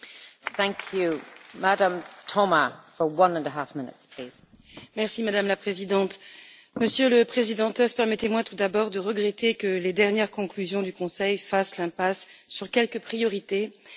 Madame la Présidente, Monsieur le Président Tusk, permettez moi tout d'abord de regretter que les dernières conclusions du Conseil fassent l'impasse sur quelques priorités, comme l'Union économique et monétaire et celle d'une assiette fiscale consolidée pour les entreprises.